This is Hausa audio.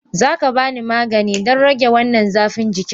Za ka ba ni magani don rage wannan zafin jiki?